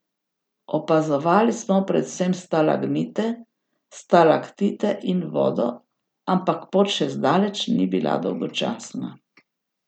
Opazovali smo predvsem stalagmite, stalaktite in vodo, ampak pot še zdaleč ni bila dolgočasna!